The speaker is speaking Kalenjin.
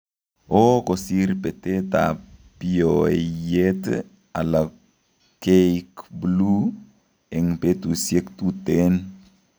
Oo kosir betet ab biooiyet ala keikbuluu eng' betusiek tuteen